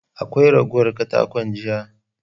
Akwai ragowar katakon jiya?